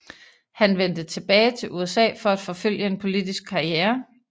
Han vendte tilbage til USA for at forfølge en politisk karriere